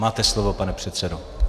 Máte slovo, pane předsedo.